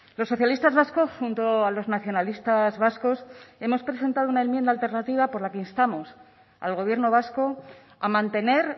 los socialistas vascos junto a los nacionalistas vascos hemos presentado una enmienda alternativa por la instamos al gobierno vasco a mantener